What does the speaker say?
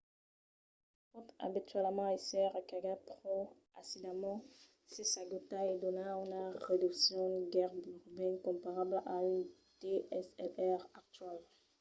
pòt abitualament èsser recargat pro aisidament se s'agota e dona una resolucion gaireben comparabla a un dslr actual